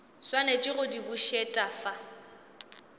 swanetše go di bušet afa